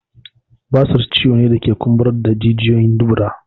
Basir ciwo ne da ke kumburar da jijiyoyin dubura